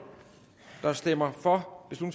der stemmer for